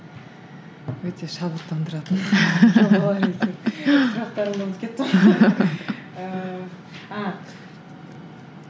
өте шабыттандыратын жобалар екен сұрақтарымды ұмытып кеттім ғой